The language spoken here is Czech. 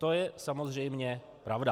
To je samozřejmě pravda.